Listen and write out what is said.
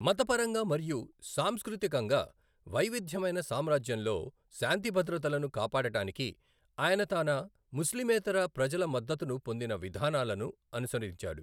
మతపరంగా మరియు సాంస్కృతికంగా వైవిధ్యమైన సామ్రాజ్యంలో శాంతిభద్రతలను కాపాడటానికి, ఆయన తన ముస్లిమేతర ప్రజల మద్దతును పొందిన విధానాలను అనుసరించాడు.